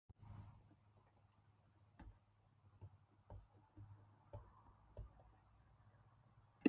Ungur og vænn var hann, og hlaut hann þó að eldast bundinn ódauðlegri konu.